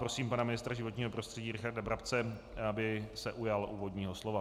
Prosím pana ministra životního prostředí Richarda Brabce, aby se ujal úvodního slova.